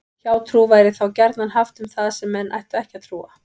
Hjátrú væri þá gjarnan haft um það sem menn ættu ekki að trúa.